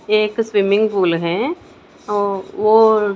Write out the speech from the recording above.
ये एक swimming pool है और वो--